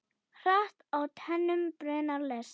Hratt á teinum brunar lest.